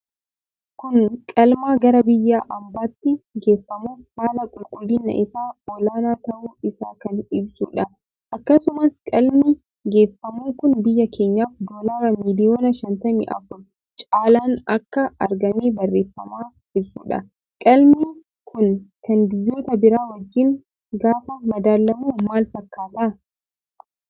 Kun qalmaa gara biyya ambaatti geffamuuf haala qulqullina isa olaanaa tahuu isaa kan ibsuudha. Akkasumas qalmi geeffamu kun biyya keenyaf doolara miliyoona 54 caalaan akka argame barrefama ibsuudha. Qalmii kun kan biyyoota bira wajjin gaafa madaalamu maal fakkaata?